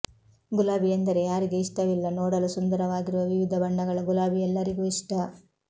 ಗುಲಾಬಿ ಎಂದರೆ ಯಾರಿಗೆ ಇಷ್ಟವಿಲ್ಲ ನೋಡಲು ಸುಂದರವಾಗಿರುವ ವಿವಿಧ ಬಣ್ಣಗಳ ಗುಲಾಬಿ ಎಲ್ಲರಿಗೂ ಇಷ್ಟ